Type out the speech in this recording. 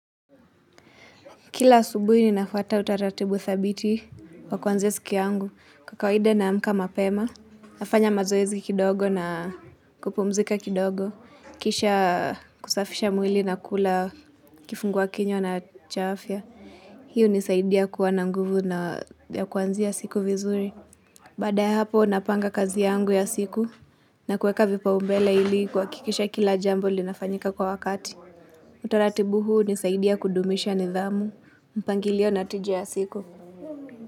Kila asubuhi ni nafuata utaratibu thabiti wa kuanzia siki yangu kwa kawida naamka mapema, nafanya mazoezi kidogo na kupumzika kidogo, kisha kusafisha mwili na kula kifungua kinywa na cha afya. Hii hunisaidia kuwa na nguvu na ya kuanzia siku vizuri. Baada ya hapo napanga kazi yangu ya siku na kuweka vipau mbele ili kuhakikisha kila jambo linafanyika kwa wakati. Utaratibu huu hunisaidia kudumisha nidhamu mpangilio natiji ya siku.